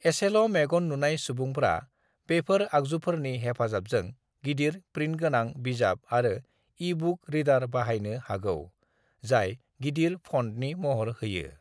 एसेल' मेगन नुनाय सुबुंफ्रा बेफोर आगजुफोरनि हेफाजाबजों गिदिर-प्रिन्टगोनां बिजाब आरो ई-बुक रीडार बाहायनो हागौ जाय गिदिर फन्टनि महर होयो।